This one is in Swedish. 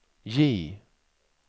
J